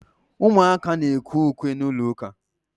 Ụmụaka na-ekwe ukwe n’ụlọụka